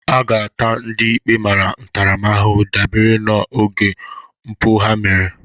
A ga-ata ndị ikpe mara ntaramahụhụ dabere n'ọnụego mpụ ha mere